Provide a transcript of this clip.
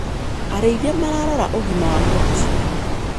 Arĩithia mararora ũgima wa ngombe ciao.